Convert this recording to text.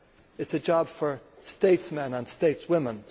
It is a job for statesmen and stateswomen.